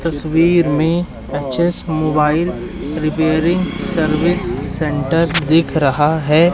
तस्वीर में अचेस मोबाइल रिपेयरिंग सर्विस सेंटर दिख रहा है।